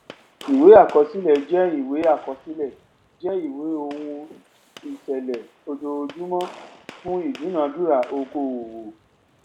ìwé àkọsílẹ jẹ ìwé àkọsílẹ jẹ ìwé ohun ìṣẹlẹ ojojúmọ fún ìdúnadúrà okòowò